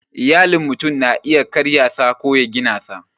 Iyalin mutum na iya karya sa ko ya gina sa